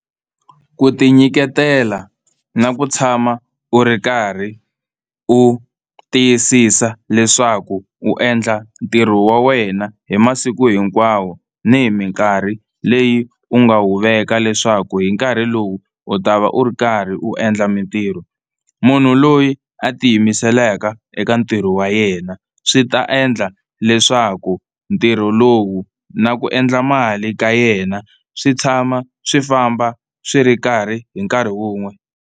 Ku tinyiketela na ku tshama u ri karhi u tiyisisa leswaku u endla ntirho wa wena hi masiku hinkwawo ni hi minkarhi leyi u nga wu veka leswaku hi nkarhi lowu u ta va u ri karhi u endla mitirho. Munhu loyi a ti yimiselaka eka ntirho wa yena swi ta endla leswaku ntirho lowu na ku endla mali ka yena swi tshama swi famba swi ri karhi hi nkarhi wun'we.